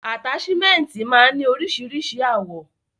Ataṣimẹnti máa n ni oríṣiríṣi àwọ̀.